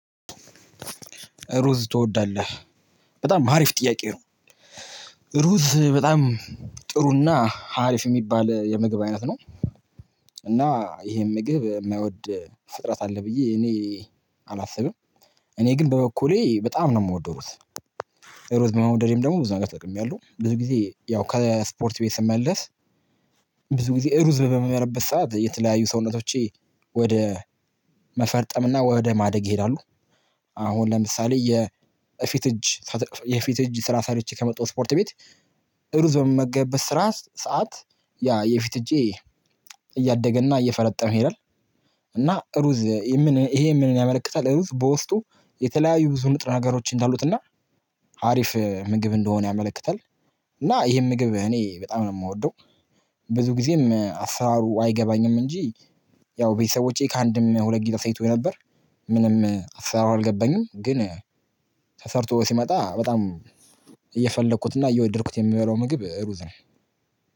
ሩዝ ትወዳለህ በጣም ሀሪፍ ጥያቄ ነው። ሩዝ በጣም ጥሩና ሀሪፍ ሚባል የምግብ አይነት ነው። እና ይሄን ምግብ እማይወድ ፍጥረት አለ ብዬ እኔ አላስብም። እኔ ግን በበኩሌ በጣም ነው ምወደው። ሩዝ በመውደዴም ደሞ ብዙ ነገር ተጠቅሚያለሁ ብዙ ጊዜ ያው ከስፖርት ቤት ስመለስ። ብዙ ጊዜ እሩዝ በምበላበት ሰዓት የተለያዩ ሰውነቶቼ ወደ መፈርጠም እና ወደ ማደግ ይሄዳሉ። አሁን ለምሳሌ የእፊት እጅ የፊት እጅ ስራ ሰርቸ ከመጣሁ ስፖርት ቤት። ሩዝ በምመገብበት ስራ ሰዓት ያ የፊት እጄ እያደገና እየፈረጠመ ይሄዳል። እና ሩዝ ምን እሄ ምንን ያመለክታል? እሩዝ በውስጡ የተለያዩ ብዙ ንጥረ ነገሮች እንዳሉትና አሪፍ ምግብ እንደሆነ ያመለክታል። እና ይሄን ምግብ እኔ በጣም ነው ምወደው። ብዙ ጊዜም አስራሩ አይገባኝም እንጂ ያው ቤተሰቦቼ ከአንድም ሁለት ጊዜ አሳይተውኝ ነበር። ምንም አሰራሩ አልገባኝም ግን። ተሰርቶ ሲመጣ በጣም እየፈለኩትና እየወደድኩት የምበላው ምግብ ሩዝ ነው።